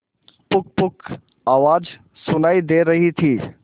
पुकपुक आवाज सुनाई दे रही थी